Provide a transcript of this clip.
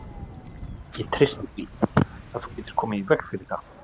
Ég treysti því, að þú getir komið í veg fyrir það